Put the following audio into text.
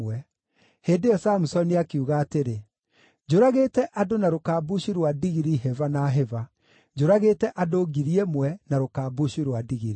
Hĩndĩ ĩyo Samusoni akiuga atĩrĩ, “Njũragĩte andũ na rũkambucu rwa ndigiri hĩba na hĩba. Njũragĩte andũ ngiri ĩmwe na rũkambucu rwa ndigiri.”